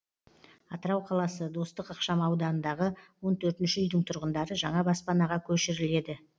атырау қаласы достық ықшам ауданындағы он төртінші үйдің тұрғындары жаңа баспанаға көшіріледі